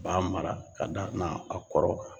B'a mara ka da na a kɔrɔ kan